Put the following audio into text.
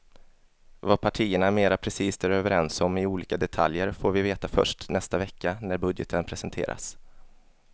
Vad partierna mera precist är överens om i olika detaljer får vi veta först nästa vecka när budgeten presenteras.